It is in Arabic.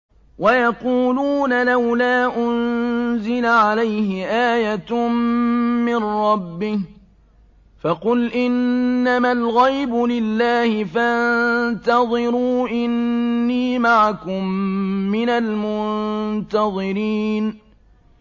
وَيَقُولُونَ لَوْلَا أُنزِلَ عَلَيْهِ آيَةٌ مِّن رَّبِّهِ ۖ فَقُلْ إِنَّمَا الْغَيْبُ لِلَّهِ فَانتَظِرُوا إِنِّي مَعَكُم مِّنَ الْمُنتَظِرِينَ